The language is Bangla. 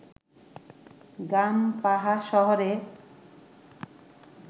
গামপাহা শহরে